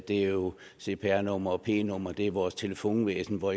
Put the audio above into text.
det er jo cpr numre og p numre det er vores telefonvæsen hvor